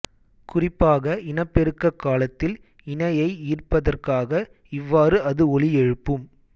குறிப்பாக இனப்பெருக்கக் காலத்தில் இணையை ஈர்ப்பதற்காக இவ்வாறு அது ஒலி எழுப்பும்